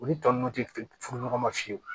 Olu tɔ ninnu tɛ furu ɲɔgɔn ma fiyewu